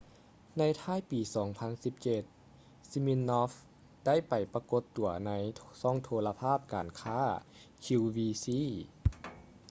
ໃນທ້າຍປີ 2017 siminoff ໄດ້ໄປປາກົດຕົວໃນຊ່ອງໂທລະພາບການຄ້າ qvc